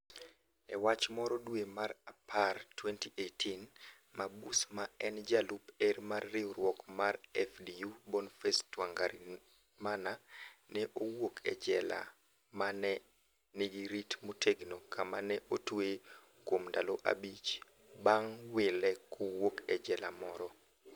e wach moro dwe mar apar 2018, mabus ma en jalup er mar riwruok mar FDU Bonface Twangarimana. ne owuok e jela ma ne nigi rit motegno kama ne otweye kuom ndalo abich bang wile kowuok e jela moro